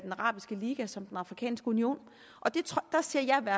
arabiske liga som den afrikanske union der ser jeg